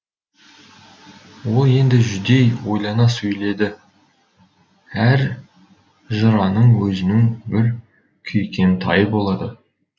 ол енді жүдей ойлана сөйледі әр жыраның өзінің бір күйкентайы болады